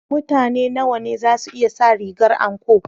Mutane nawa ne za su iya sa rigar anko?